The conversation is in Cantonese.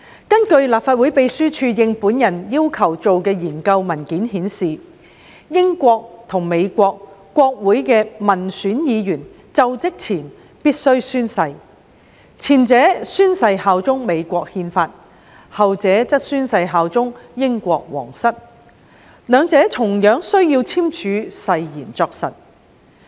根據立法會秘書處應我要求進行的研究文件顯示，美國和英國國會的民選議員就職前必須宣誓，前者宣誓效忠美國憲法，後者則宣誓效忠英國王室，兩者同樣需要簽署誓言作實。